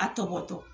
A tɔ bɔtɔ